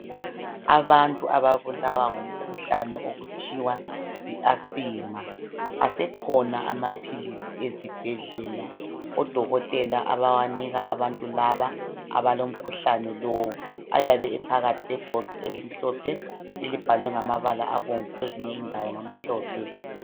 Abantu ababulawa ngumkhuhlane okuthiwa yi asima, asekhona amaphilisi ezibhedlela odokotela abawanika abantu laba abalomkhuhlane lowu ayabe ephakathi kwebhokisi elimhlophe, elibhalwe ngamabala abomvu kwezinye indawo ngamhlophe.